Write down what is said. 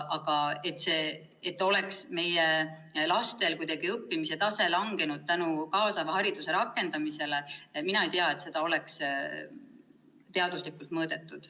Aga seda, et meie laste õppimise tase oleks langenud kaasava hariduse rakendamise tõttu, mina ei tea, et oleks teaduslikult mõõdetud.